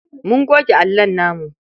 Mun goge allon namu.